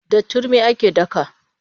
Da turmi ake daka.